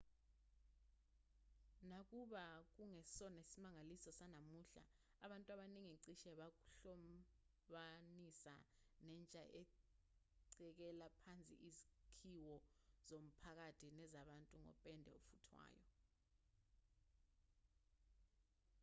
nakuba kungesona isimangaliso sanamuhla abantu abaningi cishe bakuhlobanisa nentsha ecekela phansi izakhiwo zomphakathi nezabantu ngopende ofuthwayo